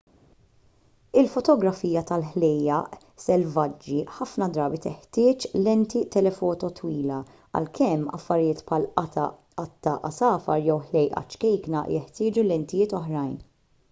il-fotografija tal-ħlejjaq selvaġġi ħafna drabi teħtieġ lenti telefoto twila għalkemm affarijiet bħal qatta għasafar jew ħlejqa ċkejkna jeħtieġu lentijiet oħrajn